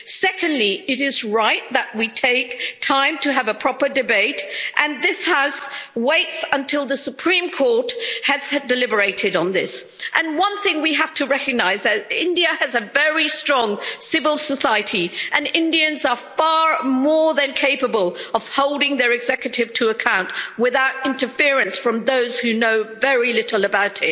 Secondly, it is right that we take time to have a proper debate and this House waits until the Supreme Court has deliberated on this. One thing we have to recognise is that India has a very strong civil society and Indians are far more than capable of holding their executive to account without interference from those who know very little